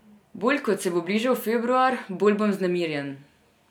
Bolj ko se bo bližal februar, bolj bom vznemirjen.